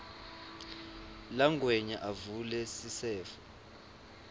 langwenya avule sisefo